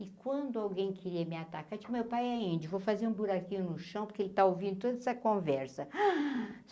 E quando alguém queria me atacar, digo, meu pai é índio, vou fazer um buraquinho no chão, porque ele está ouvindo toda essa conversa.